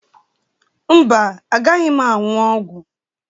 Mba, agaghị m aṅụ ọgwụ.